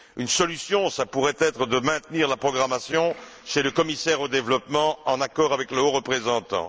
Une solution pourrait être de maintenir la programmation chez le commissaire au développement, en accord avec le haut représentant.